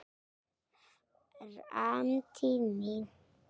Framtíð mín?